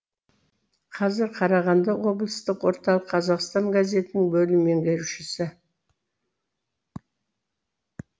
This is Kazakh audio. қазір қарағанды облыстық орталық қазақстан газетінің бөлім меңгерушісі